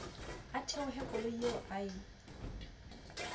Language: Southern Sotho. a theohe koloing eo ya